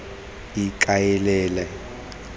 ikaelele